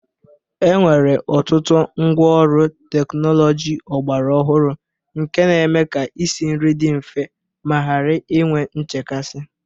Enwere ọtụtụ ngwaọrụ teknọlọji ọgbara ọhụrụ nke na-eme ka isinri dị mfe ma ghara inwe nchekasị